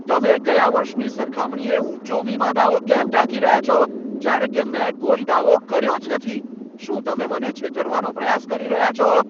તમે ગયા વર્ષની સરખામણીએ ઊંચો વીમા દાવો કેમ ટાંકી રહ્યા છો જ્યારે કે મેં કોઈ દાવો કર્યો જ નથી? શું તમે મને છેતરવાનો પ્રયાસ કરી રહ્યા છો?